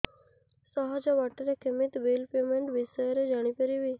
ସହଜ ବାଟ ରେ କେମିତି ବିଲ୍ ପେମେଣ୍ଟ ବିଷୟ ରେ ଜାଣି ପାରିବି